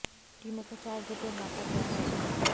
टीमों को चार ग्रुप में बांटा गया है